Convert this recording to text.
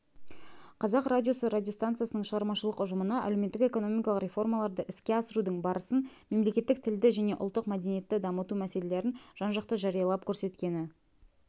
қазақ радиосы радиостанциясының шығармашылық ұжымына әлеуметтік-экономикалық реформаларды іске асырудың барысын мемлекеттік тілді және ұлттық мәдениетті дамыту мәселелерін жан-жақты жариялап-көрсеткені